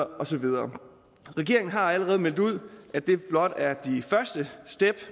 og så videre regeringen har allerede meldt ud at det blot er de første step